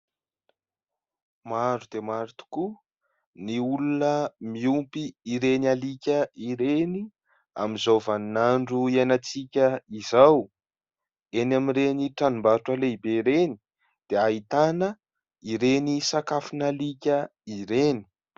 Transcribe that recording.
Maro dia maro tokoa ny olona miompy ireny alika ireny amin'izao vaninandro iainantsika izao; eny amin'ireny tranom-barotra lehibe ireny dia ahitana ireny sakafon'alika ireny.